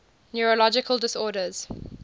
neurological disorders